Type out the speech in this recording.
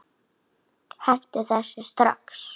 Hentu þessu strax!